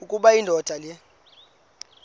ukuba indoda le